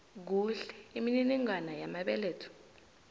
kuhle imininingwana yamabeletho